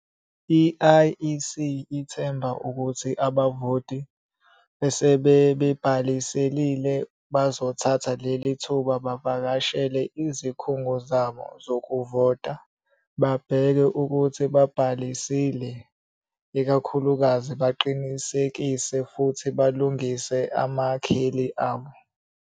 I-IEC ithemba ukuthi abavoti, asebebhalisile, bazothatha leli thuba bavakashele izikhungo zabo zokuvota babheke ukuthi babhalisile, ikakhulukazi baqinisekise futhi balungise amakheli abo.